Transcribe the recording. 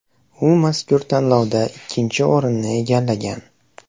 U mazkur tanlovda ikkinchi o‘rinni egallagan.